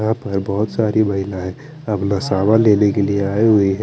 यहा पर बोहोत सारी महिलाए अपना सामान लेने के लिए आई हुई है।